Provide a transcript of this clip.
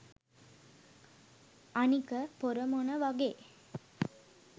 අනික පොර මොන වගේ